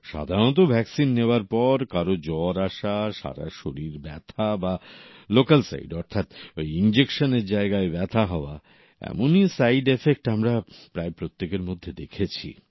সাধারণত ভ্যাকসিন নেওয়ার পর কারও জ্বর আসা সারা শরীর ব্যথা বা লোকাল সাইড অর্থাৎ ইনজেকশনের জায়গায় ব্যথা হওয়া এমনই সাইডএফেক্ট আমরা প্রত্যেকের মধ্যে দেখেছি